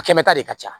A kɛmɛ ta de ka ca